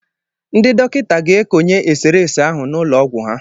Ndị dọkịta ga-ekonye eserese ahụ n'ụlọ ọgwụ ha.